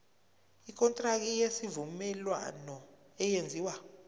ikontraki yesivumelwano eyenziwe